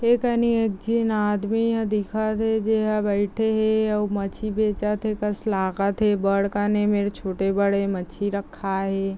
एकनी जे आदमी ह दिखत हे जेहा बैठे हेआउ माच्छी बेचत हे बढ़ कने में छोटे -बड़े मच्छी रखा है